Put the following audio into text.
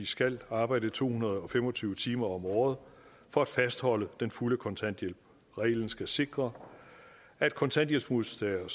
skal arbejde to hundrede og fem og tyve timer om året for at fastholde den fulde kontanthjælp reglen skal sikre at kontanthjælpsmodtagere